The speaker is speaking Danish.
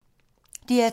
DR2